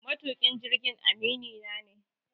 Matuƙin jirgin aminina ne.